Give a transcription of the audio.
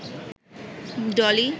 Dolly